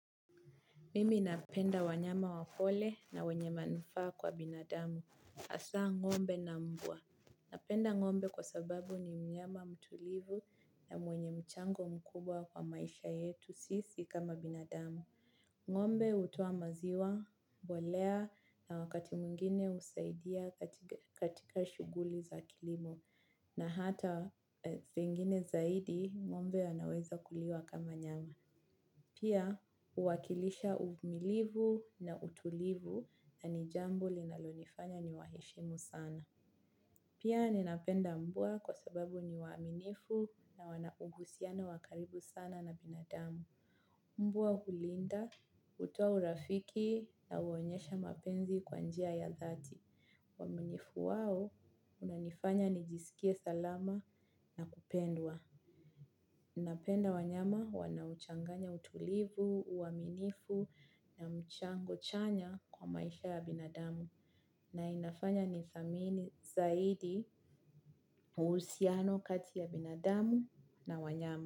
Mimi napenda wanyama wapole na wenye manufa kwa binadamu. Asa ngombe na mbua. Napenda ngombe kwa sababu ni mnyama mtulivu na mwenye mchango mkubwa kwa maisha yetu sisi kama binadamu. Ngombe utowa maziwa, mbolea na wakati muingine usaidia katika shuguli za kilimo. Na hata zingine zaidi ngombe anaweza kuliwa kama nyama. Pia uwakilisha uvumilivu na utulivu na nijambo linalonifanya ni waheshimu sana. Pia ninapenda mbua kwa sababu ni waminifu na wanauhusiano wakaribu sana na binadamu. Mbua hulinda hutoa urafiki na huonyesha mapenzi kwa njia ya dhati. Waminifu wao unanifanya nijisikie salama na kupendwa. Napenda wanyama wanaochanganya utulivu, uaminifu na mchango chanya kwa maisha ya binadamu na inafanya ni thamini zaidi usiano kati ya binadamu na wanyama.